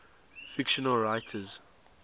fictional writers